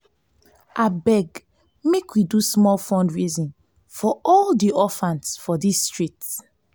abeg make we do small fundraising for all di orphans for dis street